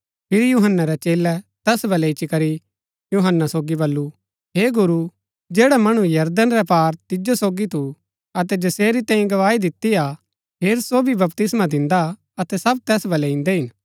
फिरी यूहन्‍नै रै चेलै तैस बलै इच्ची करी यूहन्‍ना सोगी वलू हे गुरू जैडा मणु यरदन रै पार तिजो सोगी थू अतै जसेरी तैंई गवाही दिती हा हेर सो भी बपतिस्मा दिन्दा अतै सब तैस बलै इन्दै हिन